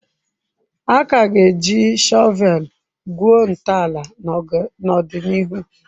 A ka ga-eji shọveeli gwuo ntọala n'ọdịnihu.